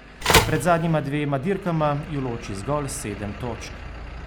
Pred zadnjima dvema dirkama ju loči zgolj sedem točk.